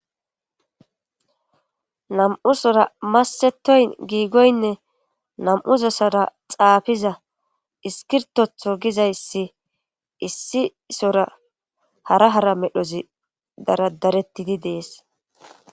nam''usora massetoyn giigoynne nam''u sozara xaafiza iskirtotho gizayssi issi sora hara hara medhozi daradarettidi dees.